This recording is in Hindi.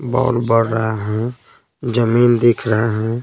बहुत बढ़ रहा है जमीन दिख रहा है।